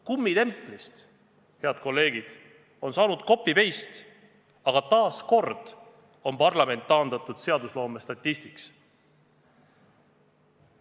Kummitemplist, head kolleegid, on saanud copy-paste, aga taas kord on parlament taandatud seadusloome statistiks.